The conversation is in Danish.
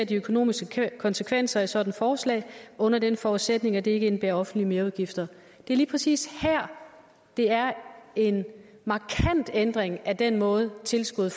de økonomiske konsekvenser af et sådant forslag under den forudsætning at det ikke indebærer offentlige merudgifter det er lige præcis her det er en markant ændring af den måde tilskuddet